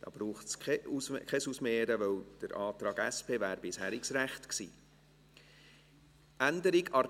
Es braucht kein Ausmehren, weil der Antrag der SP-JUSO-PSA bisheriges Recht gewesen wäre.